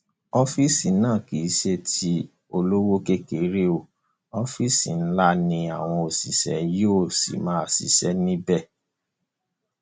ọfíìsì náà kì í ṣe tí olówó kékeré o ọfíìsì ńlá ni àwọn òṣìṣẹ yóò sì máa ṣiṣẹ níbẹ